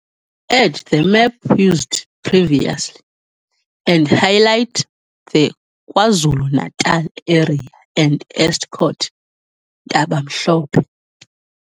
Add the map used previously and highlight the KwaZulu-Natal area and Estcourt, Ntabamhlope.